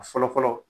A fɔlɔ fɔlɔ